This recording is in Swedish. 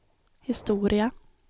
historia